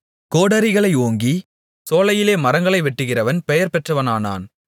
கோடரிகளை ஓங்கிச் சோலையிலே மரங்களை வெட்டுகிறவன் பெயர்பெற்றவனானான்